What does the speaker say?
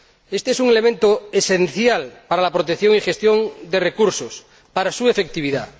Éste es un elemento esencial para la protección y gestión de recursos, para su efectividad.